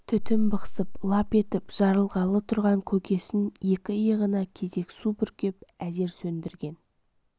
түтңн бықсып лап етіп жарылғалы тұрған көкесін екі иығына кезек су бүркіп әзер сөндірген